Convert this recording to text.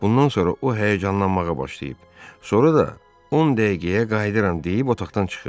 Bundan sonra o həyəcanlanmağa başlayıb, sonra da on dəqiqəyə qayıdıram deyib otaqdan çıxıb.